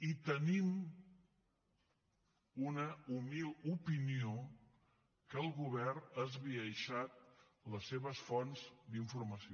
i tenim una humil opinió que el govern ha esbiaixat les seves fonts d’informació